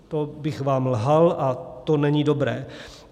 To bych vám lhal a to není dobré.